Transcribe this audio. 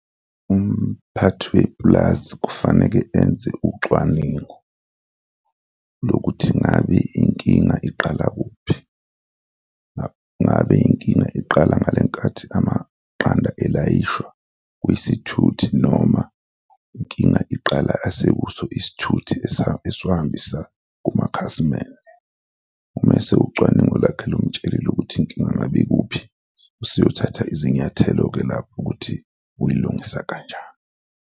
Umphathi wepulazi kufaneke enze ucwaningo lokuthi ngabe inkinga iqala kuphi, ngabe inkinga iqala ngale nkathi amaqanda elayishwa kwizithuthi noma inkinga iqala asekuso isithuthi esiwahambisa kumakhasimende? Umase ucwaningo lakhe lumtshelile ukuthi inkinga ngabe ikuphi, useyothatha izinyathelo-ke lapho ukuthi uyilungisa kanjani.